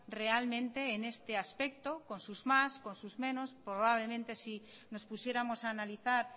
realmente en este aspecto con sus más con sus menos probablemente si nos pusiéramos a analizar